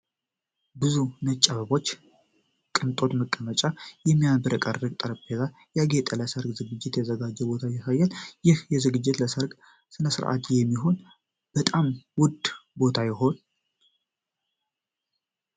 በብዙ ነጭ አበባዎች፣ የቅንጦት መቀመጫዎች እና የሚያብረቀርቅ ጠረጴዛ ያጌጠ ለሠርግ ዝግጅት የተዘጋጀ ቦታ ያሳያል። ይህ ዝግጅት ለሠርግ ስነስርዓት የሚሆን በጣም ውድ ቦታ ይሆን?